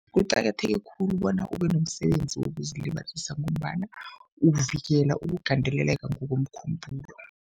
Kuqakatheke khulu bona ube nomsebenzi wokuzilibazisa ngombana uvikela ukugandeleleka ngokomkhumbulo.